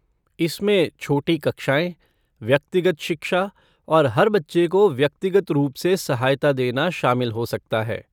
इसमें छोटी कक्षाएँ, व्यक्तिगत शिक्षा और हर बच्चे को व्यक्तिगत रूप से सहायता देना शामिल हो सकता है।